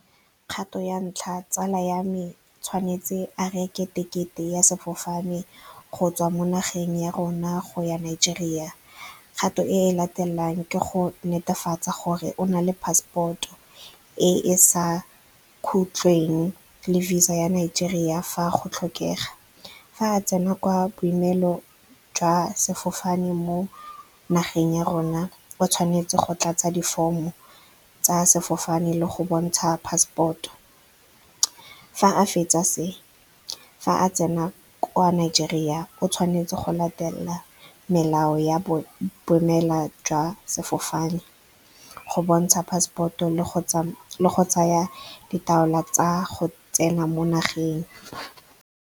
Kgato ya ntlha tsala ya me tshwanetse a reke tekete ya sefofane go tswa mo nageng ya rona go ya Nigeria. Kgato e e latelang ke go netefatsa gore o na le passport e e sa khutleng le VISA ya Nigeria ya fa go tlhokega. Fa a tsena kwa boemelong jwa sefofane mo nageng ya rona, o tshwanetse go tlatsa di-form-o tsa sefofane le go bontsha passport-o. Fa a fetsa se, fa a tsena kwa Nigeria o tshwanetse go latela melao ya boemela jwa sefofane, go bontsha passport-o le go tsaya ditaola tsa go tsena mo nageng.